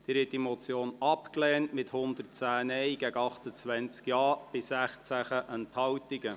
Sie haben diese Motion abgelehnt, mit 110 Nein- gegen 28 Ja-Stimmen bei 16 Enthaltungen.